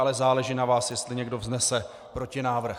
Ale záleží na vás, jestli někdo vznese protinávrh.